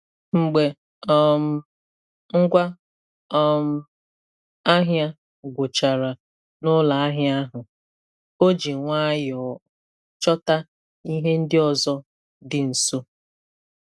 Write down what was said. Mgbe um ngwa um ahịa gwụchara n'ụlọ ahịa ahụ, o ji nwayọọ chọta ihe ndị ọzọ dị nso.